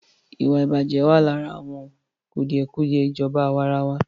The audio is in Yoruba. Ìwàìbàjẹ́ wà lára àwọn kùdìẹ̀kùdìẹ ìjọba àwàrawa.